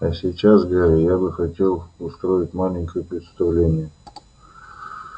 а сейчас гарри я бы хотел устроить маленькое представление